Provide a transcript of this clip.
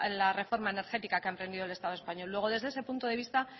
la reforma energética que ha emprendido el estado español luego desde ese punto de vista